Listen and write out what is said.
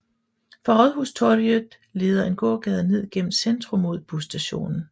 Fra Rådhustorget leder en gågade ned gennem centrum mod busstationen